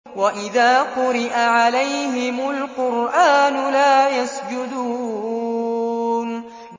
وَإِذَا قُرِئَ عَلَيْهِمُ الْقُرْآنُ لَا يَسْجُدُونَ ۩